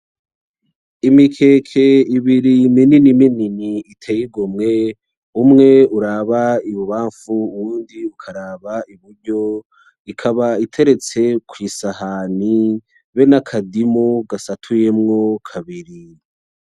Imikeke ibiri minini minini iteye igomwe umwe uraba ibubafu uwundi ukaraba iburyo ikaba iteretse kw'isahani habe nakadimu gasatuyemo kabiri.